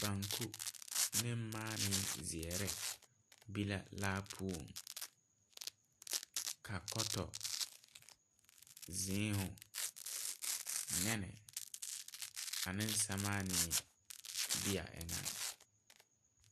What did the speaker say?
Banku ne maanii zeɛre be la laa puon ka koto ,zuma ,neni ane samaane be a engan.